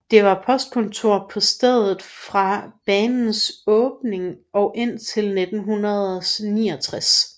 Der var postkontor på stedet fra banens åbning og indtil 1969